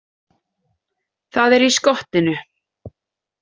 Það er í skottinu.